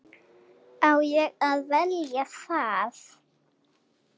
Á ég að velja það?